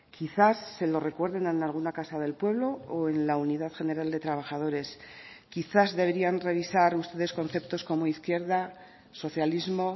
quizás se lo recuerden en alguna casa del pueblo o en la unidad general de trabajadores quizás deberían revisar ustedes conceptos como izquierda socialismo